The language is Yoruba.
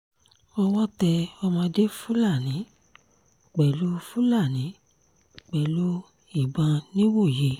owó tẹ ọmọdé fúlàní pẹ̀lú fúlàní pẹ̀lú ìbọn nìwòye